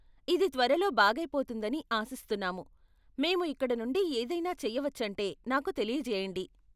ఇది త్వరలో బాగైపోతుందని ఆశిస్తున్నాము, మేము ఇక్కడ నుండి ఏదైనా చేయవచ్చంటే నాకు తెలియజేయండి.